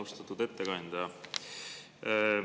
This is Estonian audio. Austatud ettekandja!